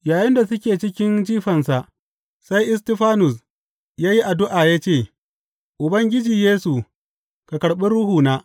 Yayinda suke cikin jifansa, sai Istifanus ya yi addu’a ya ce, Ubangiji Yesu, ka karɓi ruhuna.